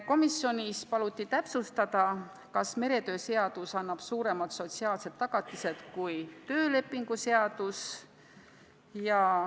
Komisjonis paluti täpsustada, kas meretöö seadus annab suuremad sotsiaalsed tagatised kui töölepingu seadus.